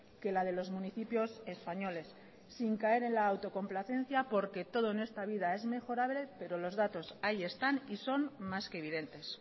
que la de los municipios españoles sin caer en la autocomplacencia porque todo en esta vida es mejorable pero los datos ahí están y son más que evidentes